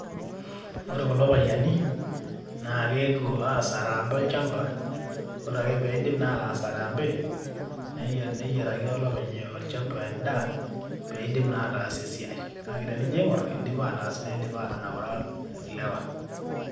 Ore kulo payiani, na keetuo aas araambe olchamba, ore ake piidip na ataas araambe, niyiaraki olopeny olchamba endaa, peidim na ataas esiai. Kake tenijo aing'or, idipa ataas nidipa atanaura ilewa.